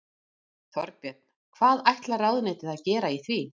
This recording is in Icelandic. Þorbjörn: Hvað ætlar ráðuneytið að gera í því?